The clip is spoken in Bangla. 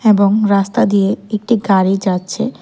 এবং রাস্তা দিয়ে একটি গাড়ি যাচ্ছে।